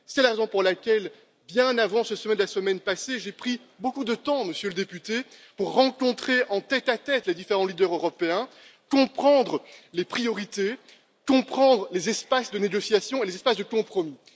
C'est la raison pour laquelle, bien avant ce sommet de la semaine passée, j'ai pris beaucoup de temps, Monsieur le député, pour rencontrer en tête à tête les différents leaders européens, comprendre les priorités, comprendre les espaces de négociation et les espaces de compromis.